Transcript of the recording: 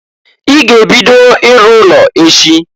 I ga-ebido iru ụlọ echi!